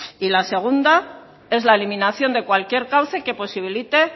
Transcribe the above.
y la segunda es la eliminación de cualquier cauce que posibilite